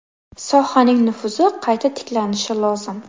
Sohaning nufuzi qayta tiklanishi lozim.